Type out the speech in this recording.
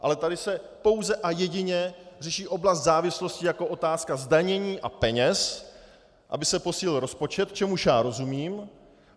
Ale tady se pouze a jedině řeší oblast závislostí jako otázka zdanění a peněz, aby se posílil rozpočet, čemuž já rozumím.